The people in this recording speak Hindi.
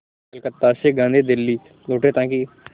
कलकत्ता से गांधी दिल्ली लौटे ताकि